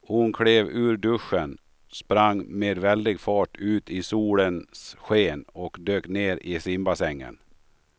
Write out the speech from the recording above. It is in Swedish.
Hon klev ur duschen, sprang med väldig fart ut i solens sken och dök ner i simbassängen.